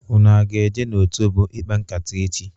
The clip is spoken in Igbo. Ụnụ a ga-eje n'otobo ịkpa nkata echi?